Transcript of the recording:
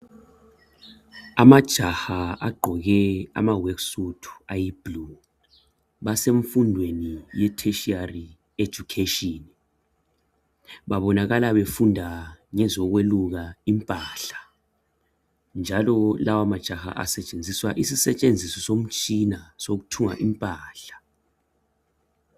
Amajaha agqoke ama"worksuit" ayi"blue" ,basemfundweni ye"Tertiary education" Babonakala befunda ngezokweluka impahla njalo lawa majaha asetshenziswa isisetshenziso sokuthunga impahla.